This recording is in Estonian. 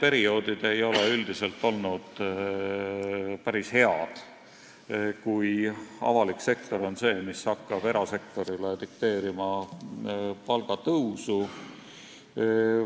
Ja need ei ole üldiselt olnud eriti head perioodid, kui avalik sektor on hakanud erasektorile palgatõusu dikteerima.